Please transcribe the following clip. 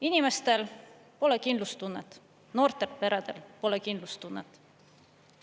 Inimestel pole kindlustunnet, noortel peredel pole kindlustunnet.